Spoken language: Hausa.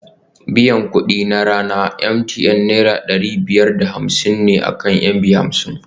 Biyan kuɗi na rana a MTN Naira ɗari biyar da hamsin ne akan MB hamsin